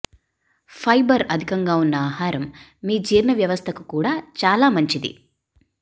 fibre అధికంగా ఉన్న ఆహారం మీ జీర్ణ వ్యవస్థకు కూడా చాలా మంచిది